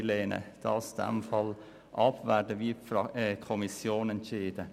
Daher lehnen wir diesen Antrag ab und werden wie die Kommission entscheiden.